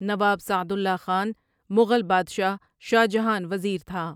نواب Saadullah Khan Mughal بادشاہ شاہ جہان وزیر تھا ۔